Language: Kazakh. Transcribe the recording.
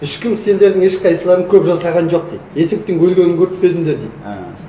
ешкім сендердің ешқайсыларың көп жасаған жоқ дейді есектің өлгенін көріп пе едіңдер дейді і